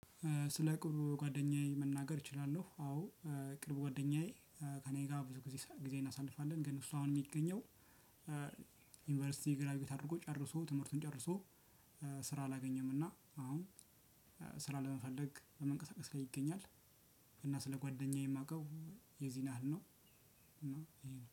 ስለ ቅርብ ጓደኛዬ መናገር እችላለሁ። አዎ ቅርብ ጓደኛዬ ከእኔ ጋር ብዙ ጊዜ እናሳልፋለን። ግን እሱ አሁን የሚገኘው ዩኒቨርሲቲ ግራጁኤት አድርጎ ጨርሶ ትምህርቱን ጨርሶ ስራ አላገኘም እና አሁን ስራ ለመፈለግ በመንቀሳቀስ ላይ ይገኛል እና ስለ ጓደኛዬ የማውቀው የዚህን ያህል ነው